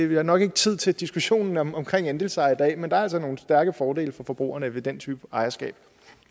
vi har nok ikke tid til diskussionen omkring andelseje i dag men der er altså nogle stærke fordele for forbrugerne ved den type ejerskab